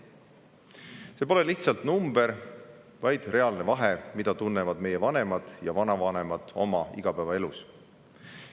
See pole lihtsalt number, vaid reaalne vahe, mida tunnevad meie vanemad ja vanavanemad oma igapäevaelus.